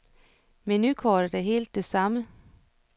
Menukortet er helt det samme.